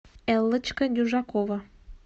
эллочка дюжакова